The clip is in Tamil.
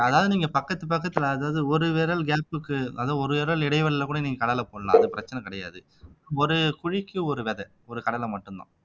அதாவது நீங்க பக்கத்து பக்கத்துல அதாவது ஒரு விரல் gap க்கு அதாவது ஒரு விரல் இடைவெளியில கூட நீங்க கடலை போடலாம் அது பிரச்சனை கிடையாது ஒரு குழிக்கு ஒரு விதை ஒரு கடலை மட்டும்தான்